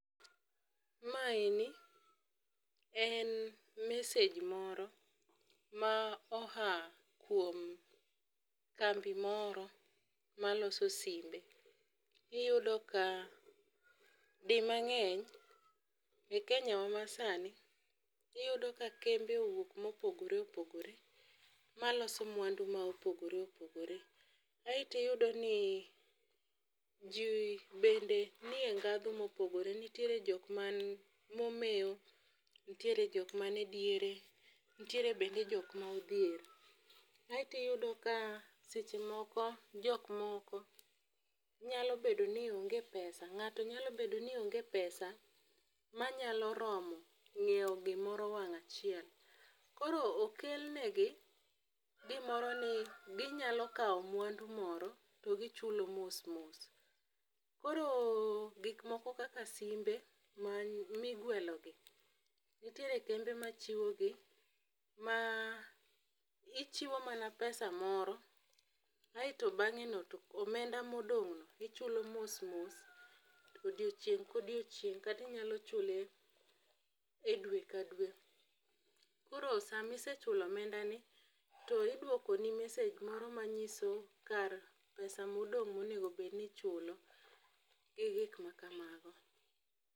Mae ni en mesej moro ma oa kuom kambi moro maloso simbe. Iyudo ka di mang'eny e kenya wa masani iyudo ka kembe owuok mopogore opogore maloso mwandu ma opogore opogore. Aeto iyudo ni jii bende nie ndhadhu mopogore nitiere jom man momewo nitie jok man e diere nitiere bende jok ma odhier. Aeto iyudo ka seche moko jok moko nyalo bedo ni onge pesa , ng'ato nyalo bedo ni onge pesa manyalo romo nyiewo gimoro wang' achiel. Koro okel negi gimoro ni ginyalo kawo mwandu moro to gichulo mos mos. Koro gik moko kaka simbe ma migwelo gi nitiere kembe machiwo gi ma ichiwo mana pesa moro aeto bang'e no omenda modong' no ichulo mos mos to odiochieng' kodiochieng' kati nyalo chule dwe ka dwe. Koro sa mise chulo omenda ni iduoko ni mesej moro manyiso kar pesa modong' monego bed ni ichulo gi gik makamago.